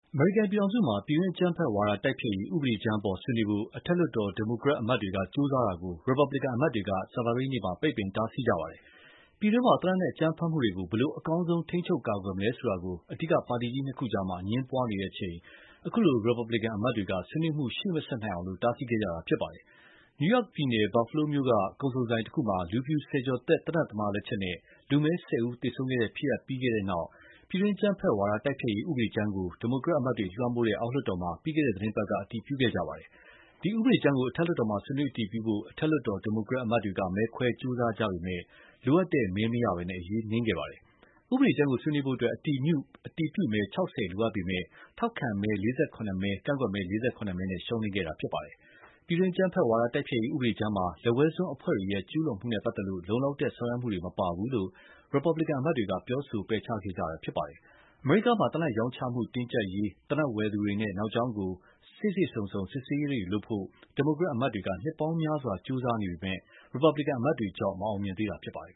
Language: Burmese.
အမေရိကန်ပြည်ထောင်စုမှာ ပြည်တွင်းအကြမ်းဖက်ဝါဒတိုက်ဖျက်ရေး ဥပဒေကြမ်းအပေါ်ဆွေးနွေးဖို့ အထက်လွှတ်တော် Democratic အမတ်တွေက ကြိုးစားတာကို Republican အမတ်တွေက ကြာသပတေးနေ့က တားဆီးခဲ့ကြပါတယ်။ ပြည်တွင်းမှာ သေနတ်နဲ့အကြမ်းဖက်မှုတွေကို အကောင်းဆုံးဖြစ်အောင် ဘယ်လိုထိန်းချုပ်ကာကွယ်မလဲဆိုတာ အဓိကပါတီကြီး ၂ ခုကြား အငြင်းပွားနေကြချိန် ခုလို Republican အမတ်တွေက ဆွေးနွေးမှုရှေ့မဆက်နိုင်အောင် တားဆီးခဲ့တာဖြစ်ပါတယ်။ New York ပြည်နယ် Buffalo မြို့က ကုန်စုံဆိုင်တခုမှာ လူဖြူဆယ်ကျော်သက် သေနတ်သမားလက်ချက်နဲ့ လူမည်း ၁၀ ယောက်ကို သေဆုံးခဲ့တဲ့ ဖြစ်ရပ်ဖြစ်ခဲ့ပြီးနောက် ပြည်တွင်းအကြမ်းဖက်ဝါဒတိုက်ဖျက်ရေး ဥပဒေကြမ်းကို Democrat အမတ်တွေလွှမ်းမိုးတဲ့ အောက်လွှတ် တော်မှာ ပြီးခဲ့တဲ့သီတင်းပတ်က အတည်ပြုခဲ့ကြပါတယ်။ ဒီဥပဒေကြမ်းကို အထက်လွှတ်တော်မှာ ဆွေးနွေးအတည်ပြုဖို့ အထက်လွှတ်တော် Democrat အမတ်တွေ မဲခွဲကြိုးစားခဲ့ကြပေမယ့် လိုအပ်တဲ့ မဲမရဘဲ အရေးနိမ်ခဲ့ပါတယ်။ ဥပဒေကြမ်းကိုဆွေးနွေးဖို့ အတည်ပြုမဲ ၆၀ လိုအပ်ပေမယ့် ထောက်ခံမဲ ၄၇ မဲ ကန့်ကွက်မဲ ၄၇ မဲနဲ့ ရှုံးနိမ့်ခဲ့တာဖြစ်ပါတယ်။ ပြည်တွင်းအကြမ်းဖက်ဝါဒတိုက်ဖျက်ရေး ဥပဒေကြမ်းမှာ လက်ဝဲစွန်းအဖွဲ့တွေရဲ့ ကျူးလွန်မှုနဲ့ပတ်သက်လို့ လုံလောက်တဲ့ ဆောင်ရွက်မှုတွေမပါဘူးလို့ Republican အမတ်တွေက ပြောဆို ပယ်ချခဲ့ကြတာဖြစ်ပါတယ်။ အမေရိကန်မှာ သေနတ်ရောင်းချမှု တင်းကြပ်ရေး၊ သေနတ်ဝယ်သူတွေနဲ့ နောက်ကြောင်းကို စေ့စေ့စုံစုံ စစ်ဆေးရေးတု့ိ လုပ်ဖို့ Democrat အမတ်တွေ နှစ်ပေါင်းများစွာ ကြိုးစားနေပေမဲ့ Republican အမတ်တွေကြောင့် မအောင်မြင်သေးတာဖြစ်ပါတယ်